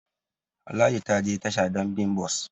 Ladi ta je tasha don bi bus